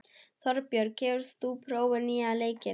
Þorbjörg, hefur þú prófað nýja leikinn?